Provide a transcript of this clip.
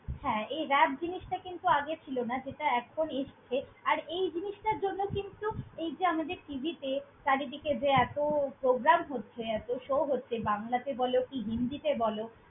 হ্যাঁ, এই rap জিনিসটা কিন্তু আগে ছিল না যেটা এখন এসছে আর এই জিনিসটার জন্য কিন্তু এই যে আমাদের tv তে চারিদিকে যে এতো program হচ্ছে, এতো show হচ্ছে বাংলাতে বলো কি হিন্দি তে বলো।